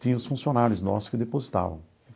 Tinha os funcionários nossos que depositavam.